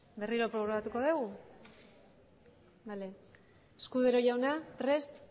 berriro probatuko dugu escudero jauna prest